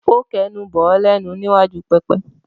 Ó kẹnu bọ̀ ọ́ lẹ́nu ní iwájú pẹpẹ?